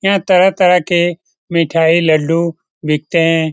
यहाँ तरह-तरह के मिठाई लड्डू बिकते हैं।